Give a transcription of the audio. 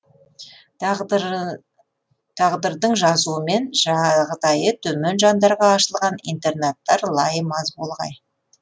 тағдырдың жазуымен жағдайы төмен жандарға ашылған интернаттар лайым аз болғай